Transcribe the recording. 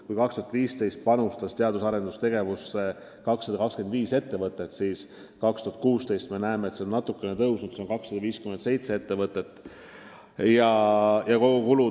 Kui 2015. aastal panustas meil teadus- ja arendustegevusse 225 ettevõtet, siis 2016. aastal natukene rohkem, 257 ettevõtet.